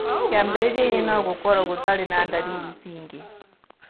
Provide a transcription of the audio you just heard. Kĩambĩrĩria-inĩ, no gũkorũo gũtarĩ na ndariri cingĩ